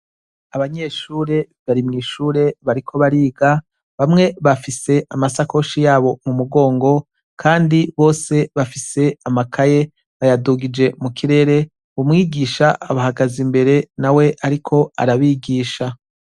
Abanyeshure bari mw'ishure bariko bariga. Bamwe bafise amasakoshi yabo mu mugongo kandi bose bafise amakaye bayadugije mu kirere, umwigisha abahagaze imbere nawe ariko arabigisha.